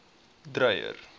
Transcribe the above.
dreyer